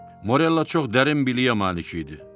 Morella çox dərin biliyə malik idi.